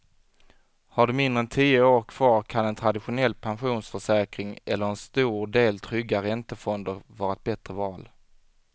Har du mindre än tio år kvar kan en traditionell pensionsförsäkring eller en stor del trygga räntefonder vara ett bättre val.